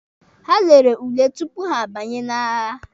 Ha lere ule tupu ha abanye n'agha.